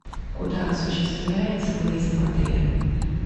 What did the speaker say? куда осуществляется выезд в отеле